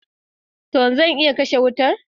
Tan! Zan iya kashe wutar.